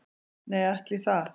Nei, ætli það